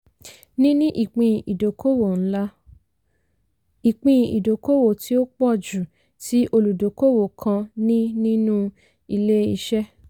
níní ìpín ìdókòwò ńlá - ìpín ìdókòwò tí ó pọ̀ jù tí olùdókòwò kan ní nínú ilé-iṣẹ́.